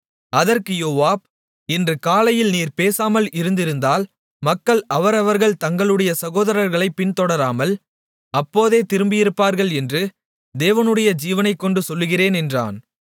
அதற்கு யோவாப் இன்று காலையில் நீர் பேசாமல் இருந்திருந்தால் மக்கள் அவரவர்கள் தங்களுடைய சகோதரர்களைப் பின்தொடராமல் அப்போதே திரும்பியிருப்பார்கள் என்று தேவனுடைய ஜீவனைக்கொண்டு சொல்லுகிறேன் என்றான்